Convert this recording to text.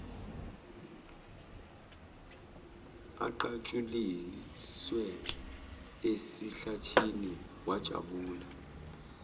aqatshuliswe esihlathini wajabula